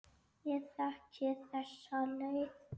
Ég þekki þessa leið.